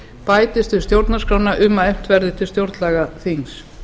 bætist við stjórnarskrána um að efnt verði til stjórnlagaþings